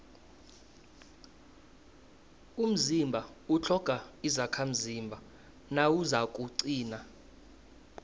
umzimba utlhoga izakhamzimba nawuzakuqina